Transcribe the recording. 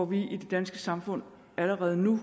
vi i det danske samfund allerede nu